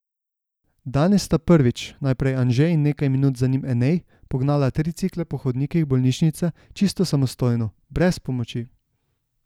Danes sta prvič, najprej Anže in nekaj minut za njim Enej, pognala tricikle po hodnikih bolnišnice čisto samostojno, brez pomoči.